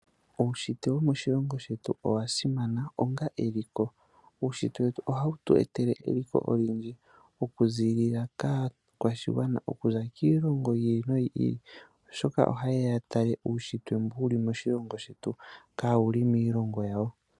Uushitwe womoshilongo shetu owasimana onga eliko. Uushitwe wetu ohawu tu etele eliko olindji okuziilila kaakwashigwana okuza kiilongo yi ili noyi ili oshoka ohaye ya yatale uushitwe mboka wuli moshilongo shetu kawuli miilongo yawo.